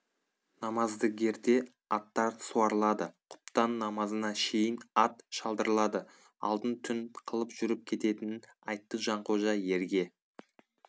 намаздігерде аттар суарылады құптан намазына шейін ат шалдырылады алдын түн қылып жүріп кететінін айтты жанқожа ерге